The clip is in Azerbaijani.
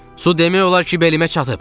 Su demək olar ki, belimə çatıb.